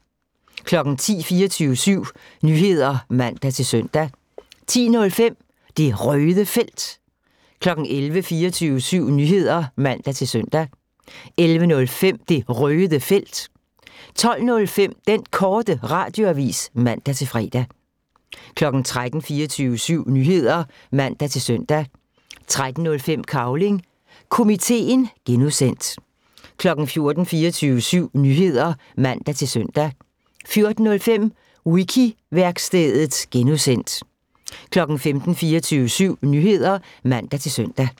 10:00: 24syv Nyheder (man-søn) 10:05: Det Røde Felt 11:00: 24syv Nyheder (man-søn) 11:05: Det Røde Felt 12:05: Den Korte Radioavis (man-fre) 13:00: 24syv Nyheder (man-søn) 13:05: Cavling Komiteen (G) 14:00: 24syv Nyheder (man-søn) 14:05: Wiki-værkstedet (G) 15:00: 24syv Nyheder (man-søn)